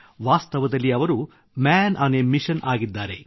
ವಾಸ್ತವದಲ್ಲಿ ಅವರು man on a mission ಆಗಿದ್ದಾರೆ